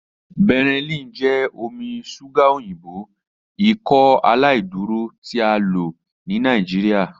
Benylin jẹ omi ṣuga oyinbo Ikọaláìdúró ti a lo ni Nigeria.